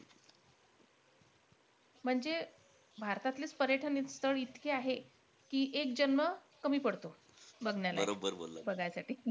म्हणजे भारतातलेचं पर्यटन स्थळ इतके आहेत की एक जन्म कमी पडतो बघण्यालाही बघायसाठी.